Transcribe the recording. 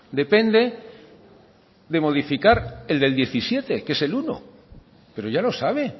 depende de modificar el del diecisiete que es el uno pero ya lo sabe